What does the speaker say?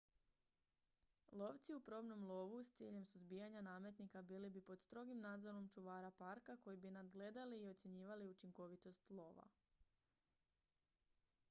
lovci u probnom lovu s ciljem suzbijanja nametnika bili bi pod strogim nadzorom čuvara parka koji bi nadgledali i ocjenjivali učinkovitost lova